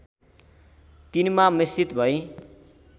तिनमा मिश्रित भइ